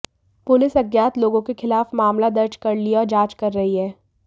police अज्ञात लोगों के खिलाफ मामला दर्ज कर लिया और जांच कर रही है